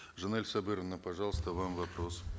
жанель сабыровна пожалуйста вам вопрос